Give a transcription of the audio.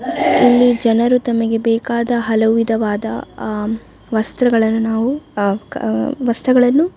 ಇಲ್ಲಿ ಜನರು ತಮಗೆ ಬೇಕಾದ ಹಲವು ವಿಧವಾದ ಆಹ್ಹ್ ವಸ್ತ್ರಗಳನ್ನು ನಾವು ಆಹ್ಹ್ ಕ ವಸ್ತುಗಳನ್ನು --